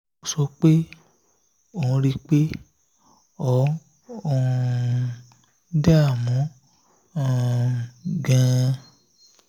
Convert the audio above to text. ó sọ pé ó ń rí i pé ó um ń dààmú um gan-an